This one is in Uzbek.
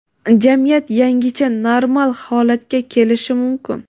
jamiyat yangicha normal holatga kelishi mumkin.